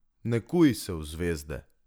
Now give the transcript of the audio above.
Ne kuj se v zvezde.